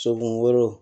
Soden wolo